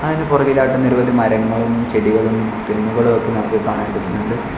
അതിന് പുറകിൽ ആയിട്ട് നിരവധി മരങ്ങളും ചെടികളും തെങ്ങുകളും ഒക്കെ നമുക്ക് കാണാൻ പറ്റുന്നുണ്ട്.